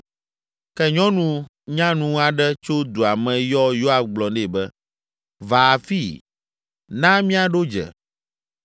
Ke nyɔnu nyanu aɖe tso dua me yɔ Yoab gblɔ nɛ be, “Va afii, na míaɖo dze.”